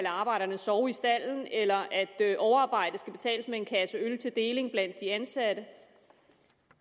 arbejderne sove i stalden eller at overarbejde skal betales med en kasse øl til deling blandt de ansatte